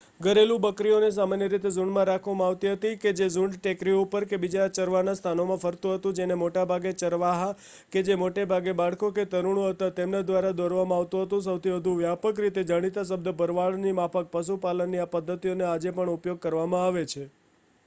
ઘરેલું બકરીઓને સામાન્ય રીતે ઝૂંડમાં રાખવામાં આવતી હતી કે જે ઝૂંડ ટેકરીઓ ઉપર કે બીજા ચરવાના સ્થાનોમાં ફરતુ હતુ જેને મોટા ભાગે ચરવાહા કે જે મોટે ભાગે બાળકો કે તરુણો હતા તેમના દ્વારા દોરવામાં આવતું હતું સૌથી વધુ વ્યાપક રીતે જાણીતા શબ્દ ભરવાડની માફક પશુપાલનની આ પદ્ધતિઓનો આજે પણ ઉપયોગ કરવામાં આવે છે